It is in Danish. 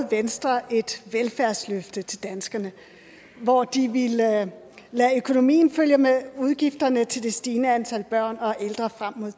venstre et velfærdsløfte til danskerne hvor de ville lade lade økonomien følge med udgifterne til det stigende antal børn og ældre frem mod